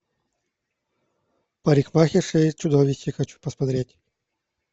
парикмахерша и чудовище хочу посмотреть